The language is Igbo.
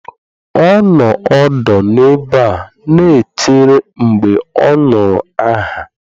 Ọ nọ ọdụ n'ebe a na-echere mgbe ọ nụrụ aha.